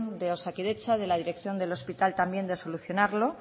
de osakidetza de la dirección del hospital también de solucionarlo